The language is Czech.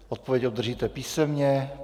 Odpověď obdržíte písemně.